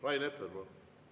Rain Epler, palun!